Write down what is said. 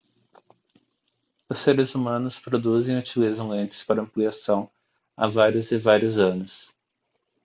os seres humanos produzem e utilizam lentes para ampliação há vários e vários anos